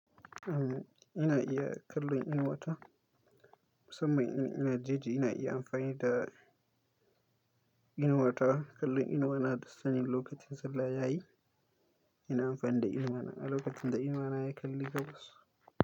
Am ina iya kallon inuwa ta, musammain ina jeji ina iya amfani da inuwa ta. Kallon inuwa na dasanin lokacin sallah yayi, ina amfani da inuwa na. Lokacin da inuwa na ya kalli gas.